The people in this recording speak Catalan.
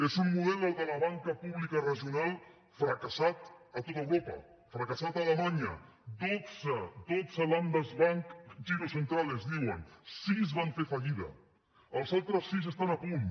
és un model el de la banca pública regional fracassat a tot europa fracassat a alemanya de dotze dotze ländersbank girozentralenels altres sis estan a punt